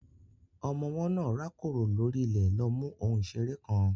Ọmọ ọwọ́ náà rákòrò lórí ilẹ̀ lọ mú ohun ìṣeré kan.